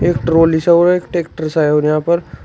एक ट्रॉली सा और एक ट्रैक्टर सा है और यहां पर --